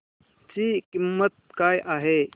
ची किंमत काय आहे